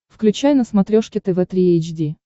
включай на смотрешке тв три эйч ди